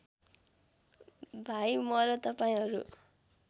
भाइ म र तपाईँहरू